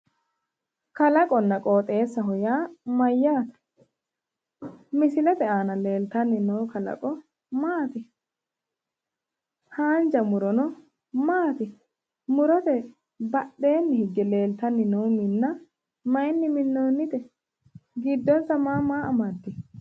Kalaqonna qooxxeessaho yaa mayyaate? Misilete aana leeltanni no kalaqo maati? haanja murono maati? Murote badheeeni hige leeltanni noo minna mayyiinni minnoonnite? Giddonsa ma ma ammadewo?